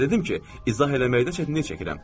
Sizə dedim ki, izah eləməkdə çətinlik çəkirəm.